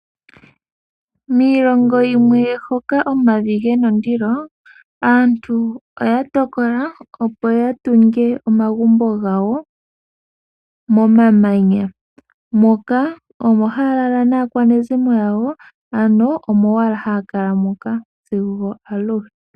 Miilongo yimwe hoka omavi gena ondilo , aantu oya tokola opo yatungepo omagumbo gawo momamanya moka , omo haya lala naakwanezimo yawo ano omo owala haya kala moka sigo aluhe.